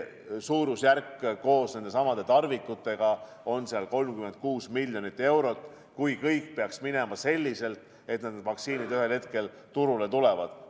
Suurusjärk koos nendesamade tarvikutega on seal 36 miljonit eurot, kui kõik peaks minema selliselt, et need vaktsiinid ühel hetkel turule tulevad.